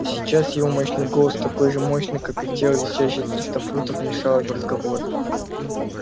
но сейчас его мощный голос такой же мощный как и тело весящее триста фунтов вмешалась в разговор